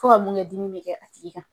Fo ka mun kɛ dimi bɛ kɛ a tigi kan.